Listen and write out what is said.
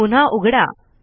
पुन्हा उघडा